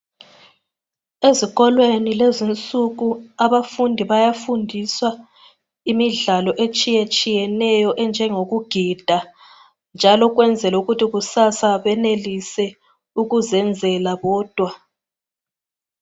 ezikolweni kulezo insuku abafundi bayafundiswa imidlalo etshiyetshiyeneyo enjengoku gida ukuyenzela ukuthi kusasa benelise ukuzenela bodwa